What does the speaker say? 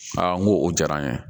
n ko o diyara an ye